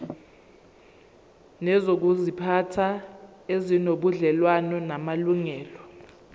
nezokuziphatha ezinobudlelwano namalungelo